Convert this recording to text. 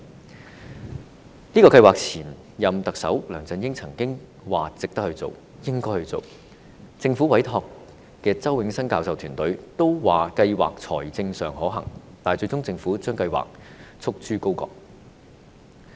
對於這個計劃，前任特首梁振英曾經表示值得推行、應該推行，政府委託的周永新教授團隊也認為，計劃在財政上可行，但最終政府卻將計劃束諸高閣。